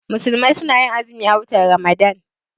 Musulmai su na azumi a watan Ramadan